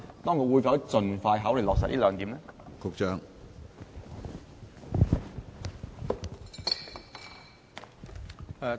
當局會否盡快考慮落實這兩點？